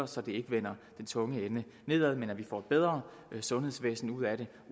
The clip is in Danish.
så det ikke vender den tunge ende nedad men at vi får et bedre sundhedsvæsen ud af det